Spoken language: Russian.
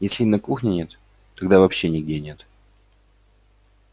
если и на кухне нет тогда вообще нигде нет